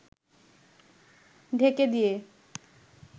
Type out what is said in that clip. ঢেকে দিয়ে